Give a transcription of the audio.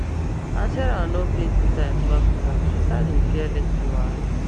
as sarah no pay two times back to back she start dey fear late fee wahala